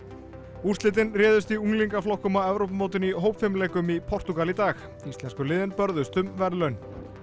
úrslitin réðust í unglingaflokkum á Evrópumótinu í hópfimleikum í Portúgal í dag íslensku liðin börðust um verðlaun